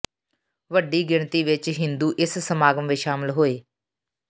ਵੱਡੀ ਗਿਣਤੀ ਵਿਚ ਹਿੰਦੂ ਇਸ ਸਮਾਗਮ ਵਿਚ ਸ਼ਾਮਿਲ ਹੋਏ